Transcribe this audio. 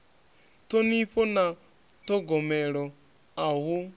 ṱhonifho na ṱhogomelo a hu